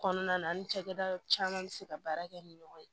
Kɔnɔna na an ni cakɛda caman be se ka baara kɛ ni ɲɔgɔn ye